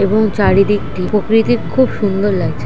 এবং চারিদিকটি প্রকৃতির খুব সুন্দর লাগছে।